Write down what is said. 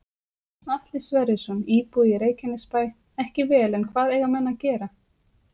Atli Sverrisson, íbúi í Reykjanesbæ: Ekki vel en hvað eiga menn að gera?